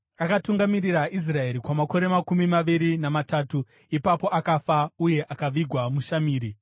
Akatungamirira Israeri kwamakore makumi maviri namatatu, ipapo akafa, uye akavigwa muShamiri.